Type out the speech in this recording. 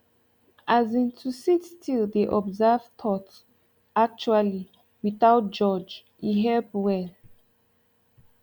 as in to sit still dey observe thoughts actually without judge e help well